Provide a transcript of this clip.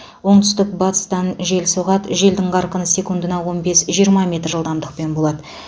оңтүстік батыстан жел соғады жел қарқыны секундына он бес жиырма метр жылдамдықпен болады